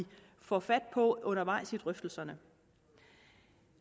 får fat på undervejs i drøftelserne